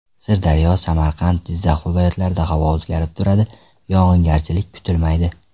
Sirdaryo , Samarqand , Jizzax viloyatlarida havo o‘zgarib turadi, yog‘ingarchilik kutilmaydi.